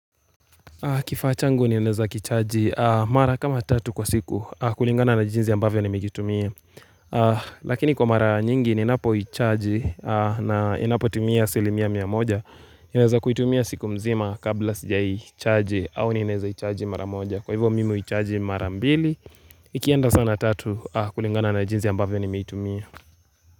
Kifaa changu ninaeza kichaji mara kama tatu kwa siku kulingana na jinsi ambavyo nimekitumia Lakini kwa mara nyingi ninapo chaji na inapo timia asilimia mia moja naeza kuitumia siku mzima kabla sija chaji au naneza chaji mara moja Kwa hivyo mimi chaji mara mbili ikienda sana tatu kulingana na jinzi ambavyo ni mikitumia.